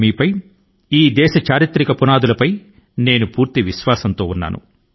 అద్భుతమైన ఈ దేశ వారసత్వం పైన నాకు గట్టి నమ్మకం ఉంది